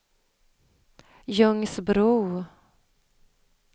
Ljungsbro